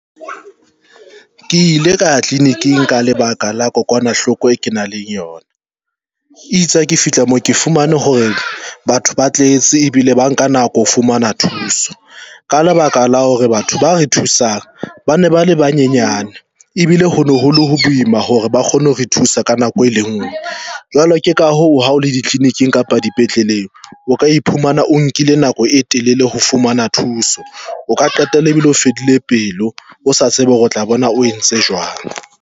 Ke ile ka ya tleliniking ka lebaka la kokwanahloko e kenang le yona itse ha ke fihla moo ke fumane hore batho ba tletse ebile ba nka nako ho fumana thuso. Ka lebaka la hore batho ba re thusang ba ne ba le banyenyane ebile hono ho le boima hore ba kgone ho re thusa ka nako e lengwe, jwale ke ka hoo ha o le ditlelikining kapa dipetleleng, o ka iphumana o nkile nako e telele ho fumana thuso, O ka qetella e bile o fedile pelo o sa tsebe hore o tla bona o entse jwang.